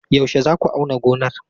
Yaushe za ku auna gonar?